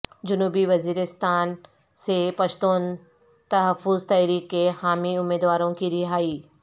جنوبی وزیرستان سے پشتون تحفظ تحریک کے حامی امیدواروں کی رہائی